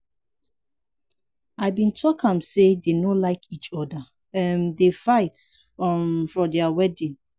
um i bin talk am say dey no like each other um dey fight um for their wedding.